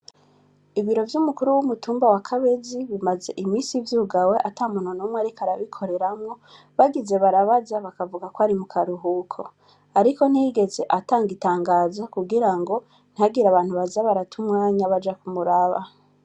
Ibiro vyumukuru wumutumba wa Kabezi bimaze iminsi vyugawe atamuntu numwe ariko arabikoreramwo bagize barabaza bakavugako ari mukaruhuko, ariko ntiyigeze atanga itangazo kugirango ntihagire abantu baza barata umwanya baja kumuraba.